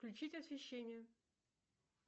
включить освещение